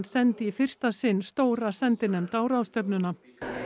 sendi í fyrsta sinn stóra sendinefnd á ráðstefnuna